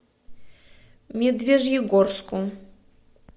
медвежьегорску